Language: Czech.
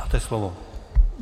Máte slovo.